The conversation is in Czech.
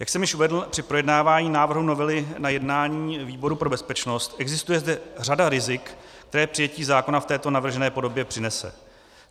Jak jsem již uvedl při projednávání návrhu novely na jednání výboru pro bezpečnost, existuje zde řada rizik, která přijetí zákona v této navržené podobě přinese.